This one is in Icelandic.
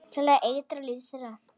Til að eitra líf þeirra.